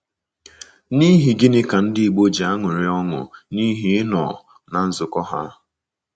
N’ihi gịnị ka Ndị Igbo ji aṅụrị ọṅụ n’ihi ịnọ ná nzukọ ha?